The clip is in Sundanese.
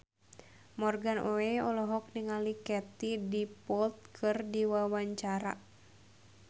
Morgan Oey olohok ningali Katie Dippold keur diwawancara